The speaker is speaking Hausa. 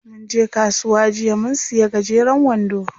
Munje kasuwa jiya mun siya gajeren wando.